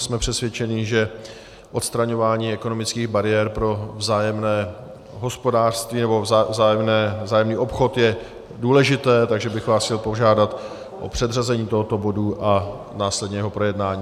Jsme přesvědčeni, že odstraňování ekonomických bariér pro vzájemné hospodářství nebo vzájemný obchod je důležité, takže bych vás chtěl požádat o předřazení tohoto bodu a následně jeho projednání.